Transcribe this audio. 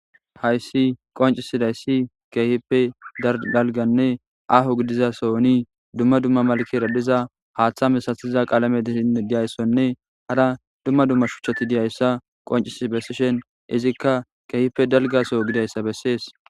Hayissi qonc, izayisi kehippe dalganne ahho gidiza sohon duma duma malkera diza hatha misatida qalame dizayisa nne hara duma duma shuchati dizayisa qonccisi besishin izika kehippe dalga soho gidizayisa besees